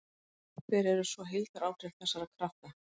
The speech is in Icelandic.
Hver eru svo heildaráhrif þessara krafta?